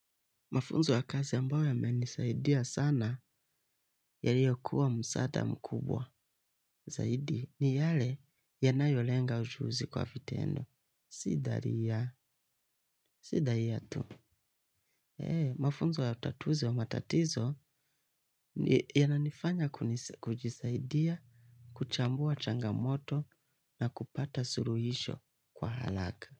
Mafunzo ya kazi ambayo ya menisaidia sana ya liyokuwa msaada mkubwa zaidi ni yale ya nayolenga ujuzi kwa vitendo. Si dhari ya, si dhari ya tu. Mafunzo ya utatuzi wa matatizo ya nanifanya kujisaidia, kuchambua changamoto na kupata suruhisho kwa halaka.